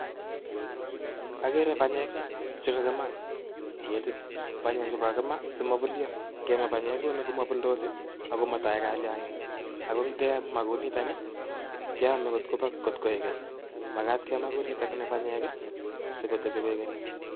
Akere banyek chekakimaa en ketit. Banyek chu kakimaa simobulyo; ngemaa banyek kouni komobuldos ako motoe kalyang'ik ako ngemaa kouni keome kotkoi keny. Magat kemaa kounitok ni banyek sikotebi koikeny.